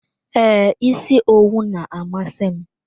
Ee, isi owu na-amasị m.